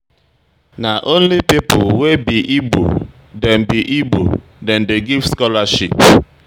Na only pipo wey be Igbo dem be Igbo dem dey give um scholarship.